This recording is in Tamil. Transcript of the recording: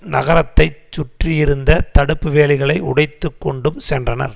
நகரத்தைச்சுற்றியிருந்த தடுப்பு வேலிகளை உடைத்துக்கொண்டும் சென்றனர்